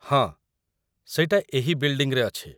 ହଁ, ସେଇଟା ଏହି ବିଲ୍‌ଡିଂ ରେ ଅଛି ।